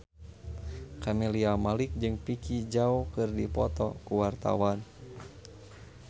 Camelia Malik jeung Vicki Zao keur dipoto ku wartawan